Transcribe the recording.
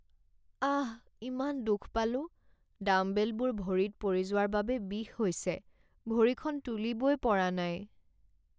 আহ! ইমান দুখ পালোঁ। ডাম্বেলবোৰ ভৰিত পৰি যোৱাৰ বাবে বিষ হৈছে। ভৰিখন তুলিবই পৰা নাই।